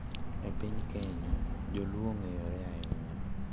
E piny Kenya, joluo ong`eyore ahinya,